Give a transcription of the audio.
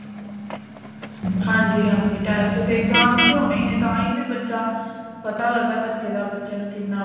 ਹਾਂਜੀ ਹਾਂਜੀ test ਤੇ exams ਤੇ ਹੋਣੇ ਈ ਐ ਤਾਂ ਫੇਰ ਬੱਚਾ ਪਤਾ ਲੱਗਦਾ ਬੱਚੇ ਦਾ ਬੱਚਾ ਫੇਰ ਕਿੰਨਾ